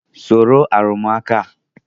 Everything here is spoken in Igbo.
Soro arụmụka a!